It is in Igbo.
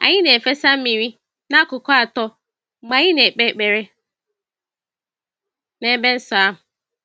Anyị na-efesa mmiri n'akụkụ atọ mgbe anyị na-ekpe ekpere n'ebe nsọ ahụ.